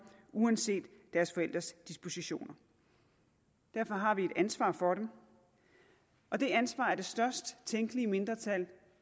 uanset deres forældres dispositioner derfor har vi et ansvar for dem og det ansvar er det størst tænkelige mindretal